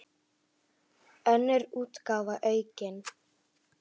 Önnur útgáfa aukin.